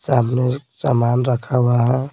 सामने सामान रखा हुआ है।